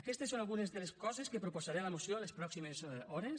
aquestes són algunes de les coses que proposaré a la moció en les pròximes hores